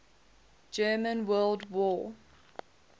german world war